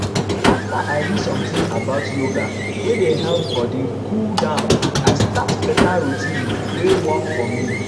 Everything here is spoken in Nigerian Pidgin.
after i read something about yoga wey dey help body cool down i start better routine wey work for me.